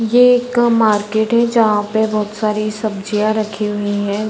ये एक मार्केट है जहाँ पे बहुत सारी सब्जियाँ रखी हुई हैं ।